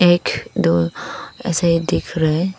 एक दो ऐसे ही दिख रहे--